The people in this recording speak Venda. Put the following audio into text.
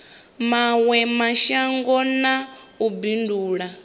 mawe mashango na u bindula